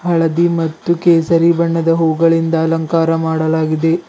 ಹಳದಿ ಮತ್ತು ಕೇಸರಿ ಬಣ್ಣದ ಹೂ ಗಳಿಂದ ಅಲಂಕಾರ ಮಾಡಲಾಗಿದೆ.